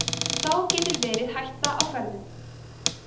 þá getur verið hætta á ferðum